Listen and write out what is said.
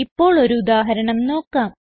ഇപ്പോൾ ഒരു ഉദാഹരണം നോക്കാം